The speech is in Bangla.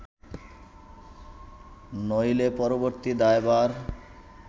নইলে পরবর্তী দায়ভার